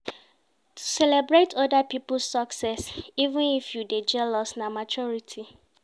To celebrate oda pipo success even if you dey jealous na maturity.